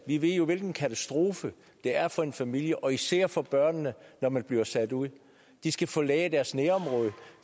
vi ved jo hvilken katastrofe det er for en familie og især for børnene når man bliver sat ud de skal forlade deres nærområde